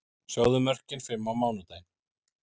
Sjáðu mörkin fimm á mánudaginn: